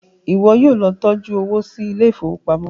iwọ yóò ló tọjú owo sí Ilé ìfowópamọ́.